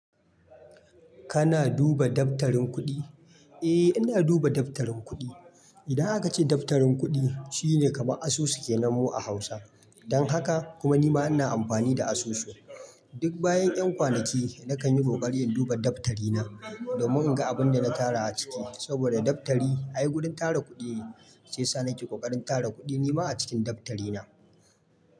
Kana duba daftarin kuɗi? Eh ina duba daftarin kuɗi. Idan aka ce daftarin kuɗi shine kamar asusu ke nanmu a Hausa. Don haka kuma nima ina amfani da asusu. Duk bayan ƴan kwanaki nakan yi ƙoƙari in duba daftari na domin in ga abin da na tara a ciki. Saboda daftari ai wurin tara kuɗi shiya, sa nake ƙoƙarin tara kuɗi nima a cikin daftari na.